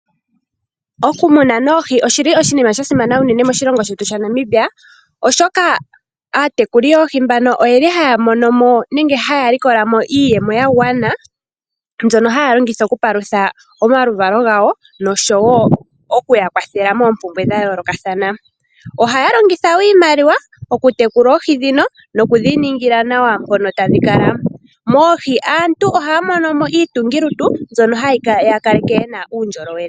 Okumuna oohi oshi li oshinima sha simana unene moshilongo shetu shaNamibia, oshoka aatekuli yoohi mbano oyeli haya monomo nenge haya likola mo iiyemo ya gwana mbyono haya longitha okupalutha omaluvalo gawo noshowo okuya kwathela moompumbwe dha yoolokathana. Ohaya longitha woo iimaliwa okutekula oohi dhino nokudhi ningila nawa mpono tadhi kala. Moohi aantu ohaya mono mo iitungilutu mbyono hayi ya kaleke ye na uundjolowele.